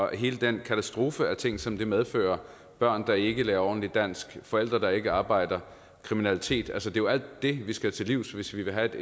hele den katastrofe af ting som det medfører børn der ikke lærer ordentligt dansk forældre der ikke arbejder kriminalitet altså det er jo alt det vi skal til livs hvis vi vil have at det